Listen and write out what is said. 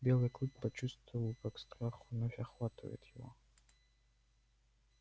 белый клык почувствовал как страх вновь охватывает его